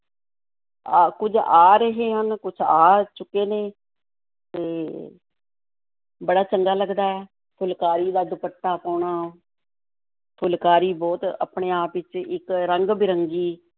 ਆ, ਕੁੱਝ ਆ ਰਹੇ ਹਨ, ਕੁੱਝ ਆ ਚੁੱਕੇ ਨੇ ਤੇ ਬੜਾ ਚੰਗਾ ਲੱਗਦਾ ਹੈ ਫੁਲਕਾਰੀ ਦਾ ਦੁਪੱਟਾ ਪਾਉਣਾ ਫੁਲਕਾਰੀ ਬਹੁਤ ਆਪਣੇ ਆਪ ਵਿੱਚ ਇੱਕ ਰੰਗ-ਬਿਰੰਗੀ